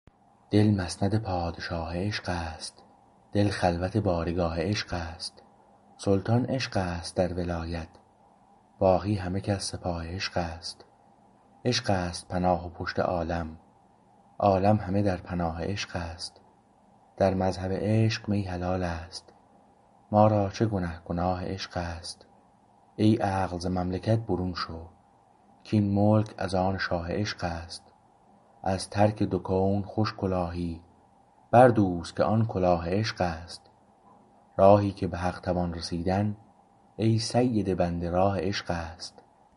دل مسند پادشاه عشق است دل خلوت بارگاه عشق است سلطان عشق است در ولایت باقی همه کس سپاه عشق است عشقست پناه و پشت عالم عالم همه در پناه عشق است در مذهب عشق می حلالست ما را چه گنه گناه عشق است ای عقل ز مملکت برون شو کاین ملک از آن شاه عشق است از ترک دو کون خوش کلاهی بردوز که آن کلاه عشق است راهی که به حق توان رسیدن ای سید بنده راه عشق است